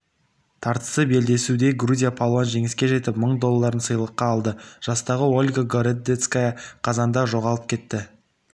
тартысты белдесуде грузия палуаны жеңіске жетіп мың долларын сыйлыққа алды жастағы ольга городецкая қазанда жоғалып кетті